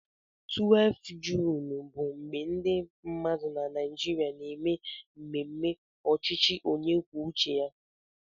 12 Juun bụ mgbe ndị mmadụ na Naịjirịa na-eme mmemme ọchịchị onye kwuo uche ya